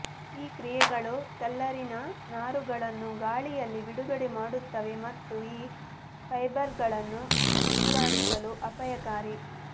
ಈ ಕ್ರಿಯೆಗಳು ಕಲ್ನಾರಿನ ನಾರುಗಳನ್ನು ಗಾಳಿಯಲ್ಲಿ ಬಿಡುಗಡೆ ಮಾಡುತ್ತವೆ ಮತ್ತು ಈ ಫೈಬರ್ಗಳನ್ನು ಉಸಿರಾಡುವುದು ಅಪಾಯಕಾರಿ